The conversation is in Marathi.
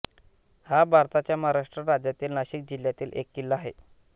हा भारताच्या महाराष्ट्र राज्यातील नाशिक जिल्ह्यातील एक किल्ला आहे